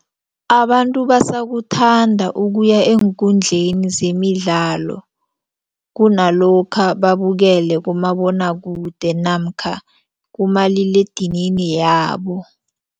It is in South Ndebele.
Abantu basakuthanda ukuya eenkundleni zemidlalo kunalokha babukele kumabonwakude namkha kumaliledinini yabo.